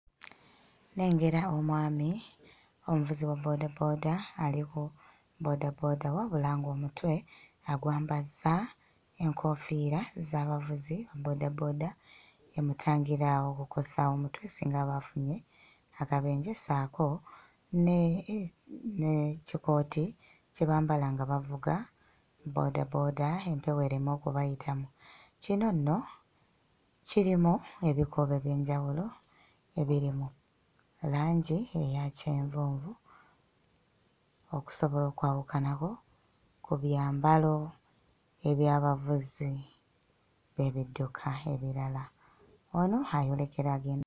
Nnengera omwami omuvuzi wa boodabooda ali ku bboodabooda wamula ng'omutwe agwambazza enkoofiira z'abavuzi ba bboodabooda emutangira okukosa omutwe singa aba afunye akabenje ssaako ne eh n'ekikooti kye bambala nga bavuga bboodabooda empewo ereme okubayitamu. Kino nno kirimu ebikuubo eby'enjawulo ebiri mu langi eya kyenvunvu okusobola okwawukanako ku byambalo eby'abavuzi b'ebidduka ebirala. Ono ayolekera age...